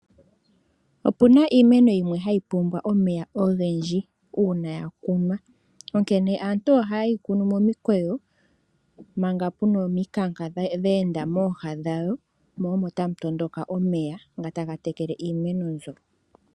Opuna iimeno yimwe hayi pumbwa omeya ogendji uuna ya kunwa. Onkene aantu oha yeyi kunu momikweye manga puna ominka nka dheenda mooha dhawo, mo omo tamu tondoka omeya ngo taga tekele iimeno mbyo.